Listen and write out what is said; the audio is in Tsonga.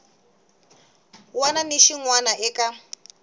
wana ni xin wana eka